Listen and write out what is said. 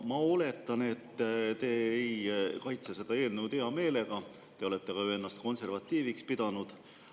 Ma oletan, et te ei kaitse seda eelnõu hea meelega, te olete ju ennast konservatiiviks pidanud.